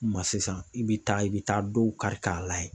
Ma sisan i bɛ taa i bɛ taa dɔw ka layɛ.